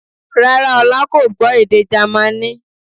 Rárá, Ọlá kò gbọ́ èdè Jamaní